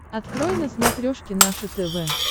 открой на смотрешке наше тв